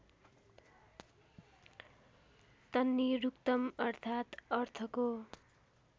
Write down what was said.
तन्निरुक्तम् अर्थात् अर्थको